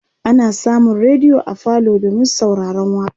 ana samun rediyo a falo domin sauraron waƙa